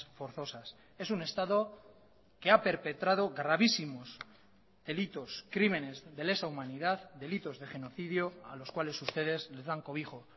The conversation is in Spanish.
forzosas es un estado que ha perpetrado gravísimos delitos crímenes de lesa humanidad delitos de genocidio a los cuales ustedes les dan cobijo